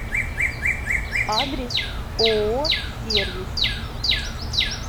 адрес ооо сервис